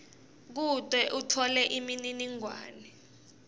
kute utfole imininingwane